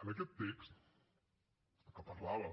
en aquest text que parlava